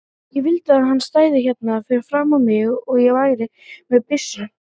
Ég vildi að hann stæði hérna fyrir framan mig og ég væri með byssu.